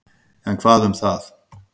En hvað um það.